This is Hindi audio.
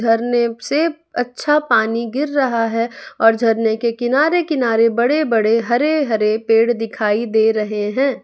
झरने से अच्छा पानी गिर रहा है और झरने के किनारे किनारे बड़े बड़े हरे हरे पेड़ दिखाई दे रहे हैं।